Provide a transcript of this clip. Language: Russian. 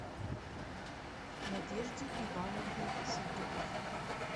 надежде ивановне шутовой